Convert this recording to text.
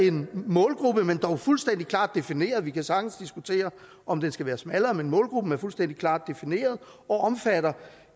en målgruppe men dog fuldstændig klart defineret vi kan sagtens diskutere om den skal være smallere men målgruppen er fuldstændig klart defineret og omfatter